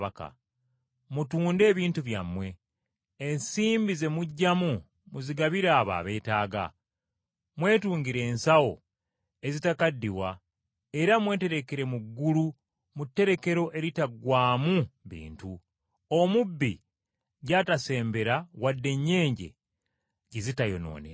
Mutunde ebintu byammwe, ensimbi ze muggyamu muzigabire abo abeetaaga, mwetungire ensawo ezitakaddiwa era mweterekere mu ggulu mu tterekero eritaggwaamu bintu, omubbi gy’atasembera wadde ennyenje gye zitayonoonera.